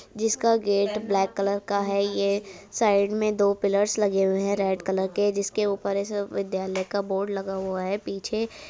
जिसका gate black colour का है। ये साइड में दो पिलर्स लगे हुए हैं। रेड कलर के। जिसके ऊपर ऐसे विद्यालय का बोर्ड लगा हुआ है। पीछे --